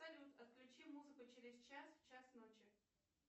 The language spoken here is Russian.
салют отключи музыку через час в час ночи